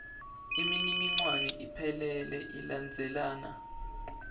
imininingwane iphelele ilandzelana